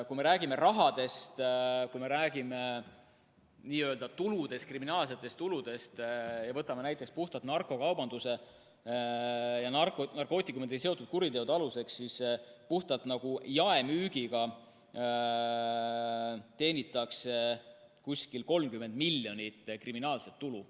Kui me räägime rahast, kui me räägime kriminaalsetest tuludest ja võtame näiteks puhtalt narkokaubanduse ja narkootikumidega seotud kuriteod aluseks, siis puhtalt jaemüügiga teenitakse umbes 30 miljonit kriminaalset tulu.